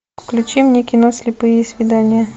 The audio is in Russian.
включи мне кино слепые свидания